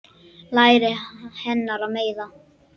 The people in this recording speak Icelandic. Læri hennar meiða mig.